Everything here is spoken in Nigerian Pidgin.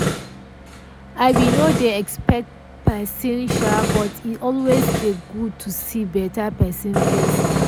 i be nor dey expect pesin sha but e always dey good to see beta pesin face